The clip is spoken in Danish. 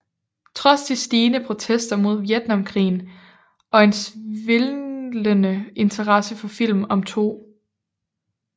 Trods de stigende protester mod Vietnamkrigen og en svindende interesse for film om 2